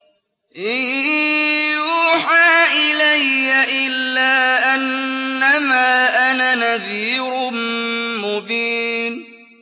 إِن يُوحَىٰ إِلَيَّ إِلَّا أَنَّمَا أَنَا نَذِيرٌ مُّبِينٌ